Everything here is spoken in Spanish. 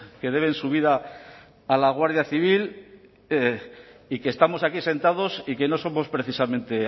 que deben su vida a la guardia civil y que estamos aquí sentados y que no somos precisamente